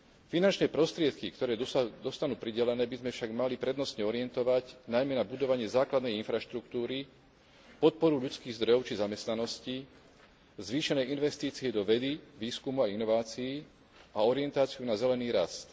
Finančné prostriedky, ktoré dostanú pridelené, by sme však mali prednostne orientovať najmä na budovanie základnej infraštruktúry, podporu ľudských zdrojov či zamestnanosti, zvýšenej investície do vedy, výskumu a inovácií a orientáciu na zelený rast.